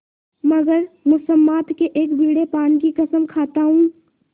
मगर मुसम्मात के एक बीड़े पान की कसम खाता हूँ